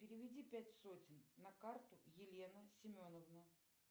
переведи пять сотен на карту елена семеновна